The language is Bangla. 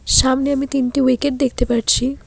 সামনে আমি তিনটি উইকেট দেখতে পারছি।